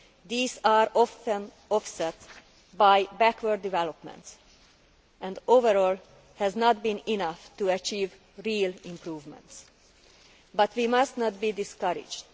These are often offset by backward developments and, overall, have not been enough to achieve real improvements, but we must not be discouraged.